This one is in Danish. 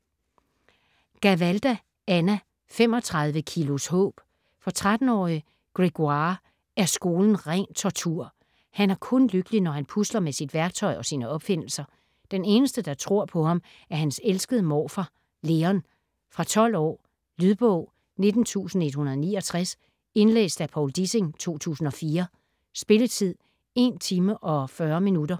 Gavalda, Anna: 35 kilos håb For 13-årige Grégoire er skolen ren tortur. Han er kun lykkelig, når han pusler med sit værktøj og sine opfindelser. Den eneste, der tror på ham, er hans elskede morfar Leon. Fra 12 år. Lydbog 19169 Indlæst af Povl Dissing, 2004. Spilletid: 1 timer, 40 minutter.